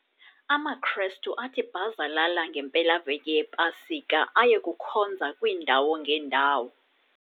AmaKrestu athi bhazalala ngempelaveki yePasika aye kukhonza kwiindawo ngeendawo.